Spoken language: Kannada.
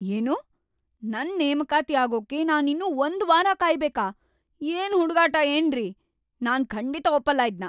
ಏನು?! ನನ್ ನೇಮಕಾತಿ ಆಗೋಕೆ ನಾನಿನ್ನೂ ಒಂದ್‌ ವಾರ ಕಾಯ್ಬೇಕಾ?! ಏನ್‌ ಹುಡುಗಾಟ ಏನ್ರಿ.. ನಾನ್‌ ಖಂಡಿತ ಒಪ್ಪಲ್ಲ ಇದ್ನ!